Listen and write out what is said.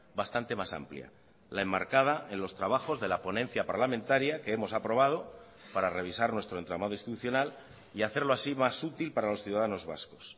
bastante más amplia la enmarcada en los trabajos de la ponencia parlamentaria que hemos aprobado para revisar nuestro entramado institucional y hacerlo así más útil para los ciudadanos vascos